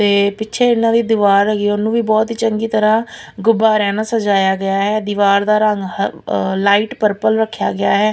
ਤੇ ਪਿੱਛੇ ਏਹਨਾਂ ਦੀ ਦਿਵਾਰ ਹੈਗੀ ਹੈ ਓਹਨੂੰ ਵੀ ਬੋਹਤ ਹੀ ਚੰਗੀ ਤਰ੍ਹਾਂ ਗੁੱਬਾਰੇਆਂ ਨਾਲ ਸਜਾਇਆ ਗਿਆ ਹੈ ਦਿਵਾਰ ਦਾ ਰੰਗ ਹ ਲਾਈਟ ਪਰਪਲ ਰੱਖਿਆ ਗਿਆ ਹੈ।